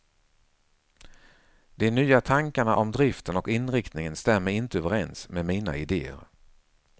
De nya tankarna om driften och inriktningen stämmer inte överens med mina idéer.